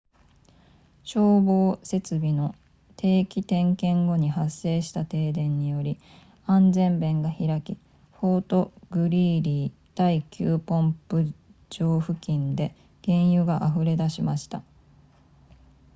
消防設備の定期点検後に発生した停電により安全弁が開きフォートグリーリー第9ポンプ場付近で原油が溢れ出しました